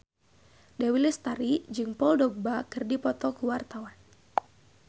Dewi Lestari jeung Paul Dogba keur dipoto ku wartawan